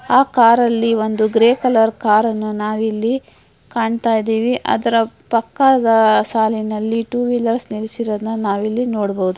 ಆ ಕಾರ್ ಅಲ್ಲಿ ಒಂದು ಗ್ರೇಯ್ ಕಲರ್ ಕಾರ್ ಅನ್ನ ನಾವಿಲ್ಲಿ ಕಾಣ್ತಾ ಇದೀವಿ. ಅದರ ಪಕ್ಕದ ಸಾಲಿನಲ್ಲಿ ಟೂ ವೀಲರ್ಸ್ ನಿಲ್ಲಿಸಿರೋದನ್ನ ನಾವಿಲ್ಲಿ ನೋಡಬಹುದು.